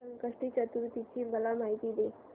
संकष्टी चतुर्थी ची मला माहिती दे